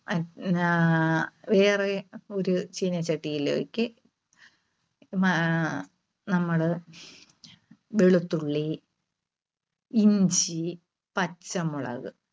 ആഹ് വേറെ ഒരു ചീനച്ചട്ടിയിലേക്ക് ആഹ് നമ്മള് വെളുത്തുള്ളി, ഇഞ്ചി, പച്ചമുളക്